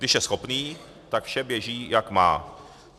Když je schopný, tak vše běží jak má.